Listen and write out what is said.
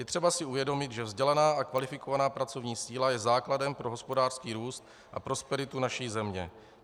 Je třeba si uvědomit, že vzdělaná a kvalifikovaná pracovní síla je základem pro hospodářský růst a prosperitu naší země.